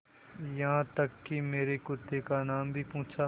यहाँ तक कि मेरे कुत्ते का नाम भी पूछा